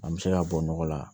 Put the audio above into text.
An bɛ se ka bɔ nɔgɔ la